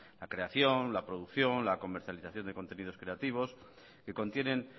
la creación la producción la comercialización de contenidos creativos que contienen